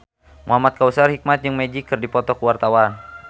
Muhamad Kautsar Hikmat jeung Magic keur dipoto ku wartawan